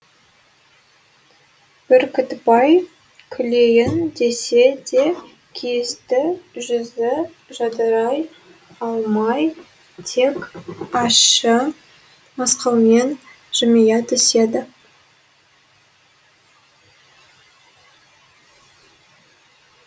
бүркітбай күлейін десе де кейісті жүзі жадырай алмай тек ащы мысқылмен жымия түседі